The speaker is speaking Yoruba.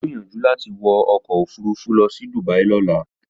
Ó gbèrò láti wọ ọkọ̀ òfurufú lọ sí Dubia lọ́la.